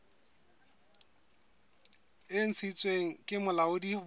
e ntshitsweng ke bolaodi bo